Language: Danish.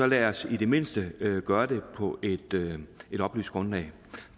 lad os så i det mindste gøre det på et oplyst grundlag